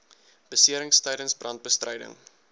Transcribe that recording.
beserings tydens brandbestryding